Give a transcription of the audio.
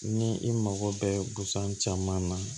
Ni i mago bɛɛ busan caman na